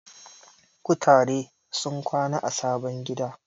Kutare sun kwana a sabon gida.